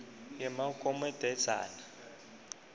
yemagomedzana